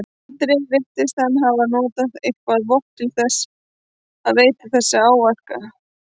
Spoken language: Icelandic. Andri: Virtist hann hafa notað eitthvað vopn til þess að veita þessa áverka?